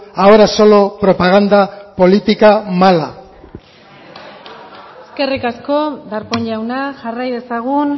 ahora solo propaganda política mala eskerrik asko darpón jauna jarrai dezagun